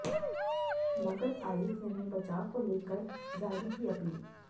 मगध आयुक्त ने बचाव को लेकर जारी की अपील